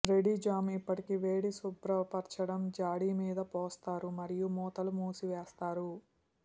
ready jam ఇప్పటికీ వేడి శుభ్రపరచడం జాడి మీద పోస్తారు మరియు మూతలు మూసివేస్తారు